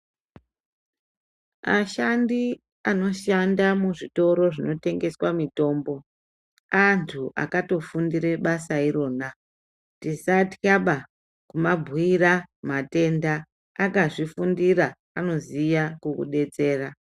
Ashandi anoshanda muzvitoro zvinotengeswa mitombo, antu akatofundire basa irona, tisathlaba kumabhuira matoenda, akazvifundira anoziya kukudetsera.